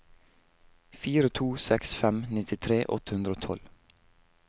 fire to seks fem nittitre åtte hundre og tolv